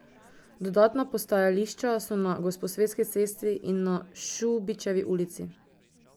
Dodatna postajališča so na Gosposvetski cesti in na Šubičevi ulici.